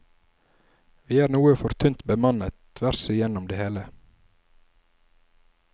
Vi er noe for tynt bemannet tvers igjennom det hele.